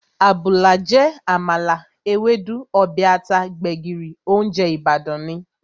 Àbùlà jẹ́ àmàlà, Ewédú, ọbẹ̀ ata, gbẹ̀gìrì, óúnjẹ Ìbàdàn ni